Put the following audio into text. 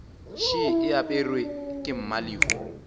še e aperwe ke mmalehu